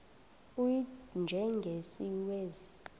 u y njengesiwezi